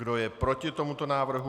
Kdo je proti tomuto návrhu?